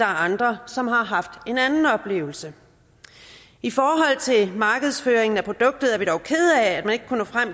andre som har haft en anden oplevelse i forhold til markedsføringen af produktet er vi dog kede af at man ikke kunne nå